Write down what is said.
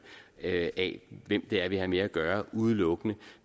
af hvem det er vi har med at gøre udelukkende